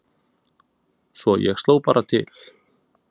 Svo ég sló bara til